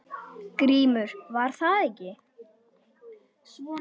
GRÍMUR: Var það ekki!